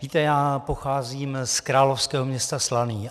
Víte, já pocházím z královského města Slaný.